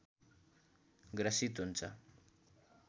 ग्रसित हुन्छ